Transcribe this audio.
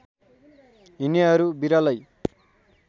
हिँडनेहरू बिरलै